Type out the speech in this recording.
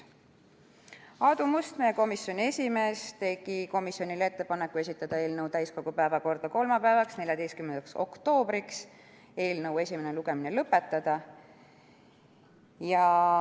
Aadu Must, meie komisjoni esimees, tegi komisjonile ettepaneku esitada eelnõu täiskogu päevakorda kolmapäevaks, 14. oktoobriks, ja eelnõu esimene lugemine lõpetada.